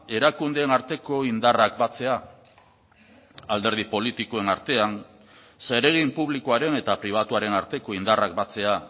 erakundeen arteko indarrak batzea alderdi politikoen artean zeregin publikoaren eta pribatuaren arteko indarrak batzea